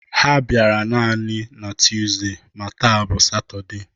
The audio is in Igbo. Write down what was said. Ha bịara nani na Tuuzde ma taa bụ satọde